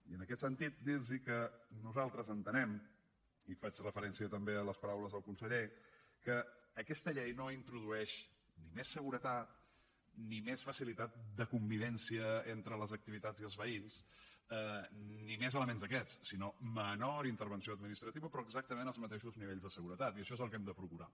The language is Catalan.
i en aquest sentit dirlos que nosaltres entenem i faig referència també a les paraules del conseller que aquesta llei no introdueix ni més seguretat ni més facilitat de convivència entre les activitats i els veïns ni més elements d’aquests sinó menor intervenció administrativa però exactament els mateixos nivells de seguretat i això és el que hem de procurar